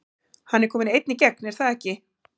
Hann er kominn einn í gegn er það ekki?